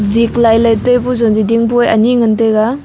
zik lailai taipu zonji dingpu e anyi ngan taiga.